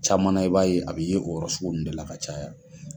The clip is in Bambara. Caman na i b'a ye, a bɛ ye o yɔrɔ sugu nunnu de la ka caya.